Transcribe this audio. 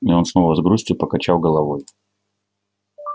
и он снова с грустью покачал головой